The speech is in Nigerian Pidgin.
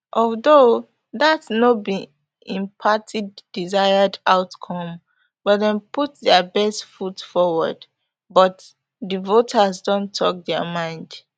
although dat no be im party desired outcome but dem put dia best foot forward but di voters don tok dia mind